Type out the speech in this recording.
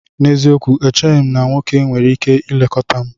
N'eziokwu! Echeghị m na nwoke nwere ike ilekọta m